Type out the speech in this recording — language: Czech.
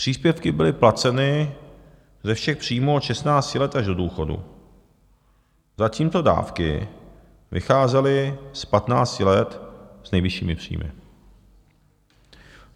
Příspěvky byly placeny ze všech příjmů od 16 let až do důchodu, zatímco dávky vycházely z 15 let s nejvyššími příjmy.